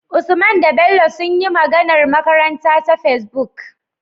Usman da Bello sunyi magAnar makaranta ta Facebook